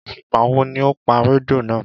Ìgbà wo ni o pa rédíò náà